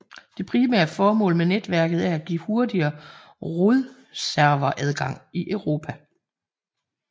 Det primære formål med netværket er at give hurtigere rodserveradgang i Europa